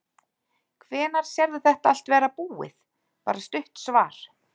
Hvenær sérðu þetta allt vera búið, bara stutt svar?